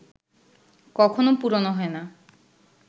কখনো পুরোনো হয় না